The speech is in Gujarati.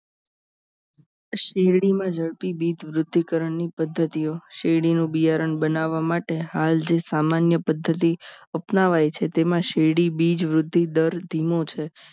શેરડી માં જડપી બીજ વૃધીકર્ણ ની પદ્ધતિઓ શેરડીનું બિયારણ બનાવવા માટે હાલ જે સામાન્ય પદ્ધતિ અપનાવાય છે તેમાં શીરડી બીજ વૃદ્ધિ દર ધીમો છે